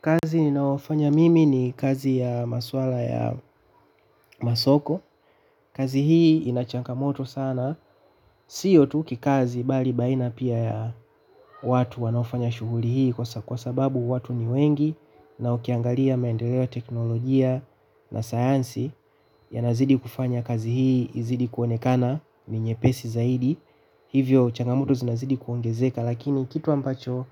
Kazi ninaofanya mimi ni kazi ya maswala ya masoko, kazi hii ina changamoto sana, sio tu kikazi bali baina pia ya watu wanaofanya shughuli hii kwa sababu watu ni wengi na ukiangalia maendeleo ya teknolojia na sayansi yanazidi kufanya kazi hii, izidi kuonekana, ni nyepesi zaidi. Hivyo, changamoto zinazidi kuongezeka lakini kitu ambacho